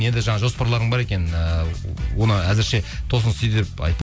енді жаңа жоспарларың бар екен ііі оны әзірше тосын сый деп